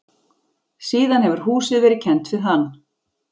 Síðan hefur húsið verið kennt við hann.